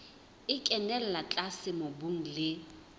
e kenella tlase mobung le